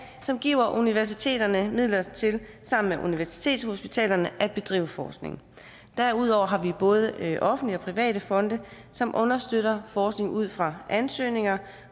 som giver universiteterne midler til sammen med universitetshospitalerne at bedrive forskning derudover har vi både offentlige og private fonde som understøtter forskning ud fra ansøgninger